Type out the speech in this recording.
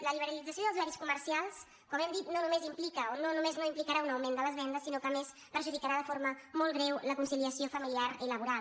la liberalització dels horaris comercials com hem dit no només implica o no només no implicarà un augment de les vendes sinó que a més perjudicarà de forma molt greu la conciliació familiar i laboral